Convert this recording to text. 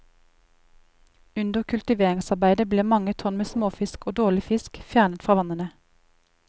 Under kultiveringsarbeidet blir mange tonn med småfisk og dårlig fisk fjernet fra vannene.